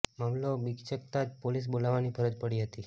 મામલો બીચકતા જ પોલીસ બોલાવવાની ફરજ પડી હતી